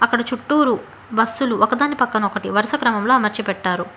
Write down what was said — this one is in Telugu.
అక్కడ చుట్టూరు బస్సు లు ఒకదాని పక్కన ఒకటి వరుస క్రమంలో అమర్చి పెట్టారు.